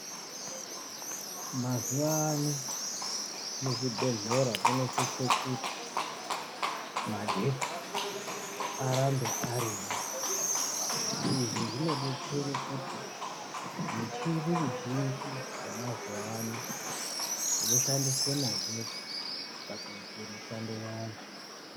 Mazuwa ano muzvibhedhlera munosise kuti magetsi arambe arimwo, izvi zvinodetsere kuti michini mizhinji yemazuwa ano inoshandisa magetsi pakuite mishando yayo.